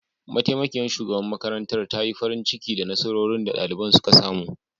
Mataimakiyar shugaban makarantar ta yi farin ciki da nasarorin da daliban suka samu